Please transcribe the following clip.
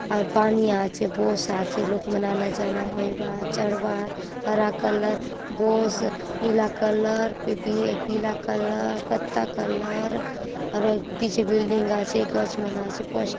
और पानी अछे बोस आचे लोक मन आना जाना होईबा आत चढ़बा आत हरा कलर बोस नीला कलर पी-पी-पीला कलर कत्ता कलर अउर हय पीछे बिल्डिंग गाचे गच मन आचे पच --